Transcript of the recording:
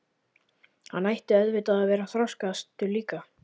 Hann ætti auðvitað að vera þroskaðastur líka.